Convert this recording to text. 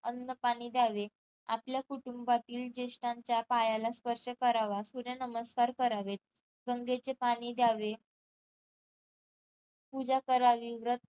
अन्न पाणी द्यावे आपल्या कुटुंबातील जेष्टांच्या पायाला स्पर्श करावा सूर्य नमस्कार करावेत गंगेचे पाणी द्यावे पूजा करावी व्रत